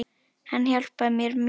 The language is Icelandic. Hann hjálpar mér mjög mikið.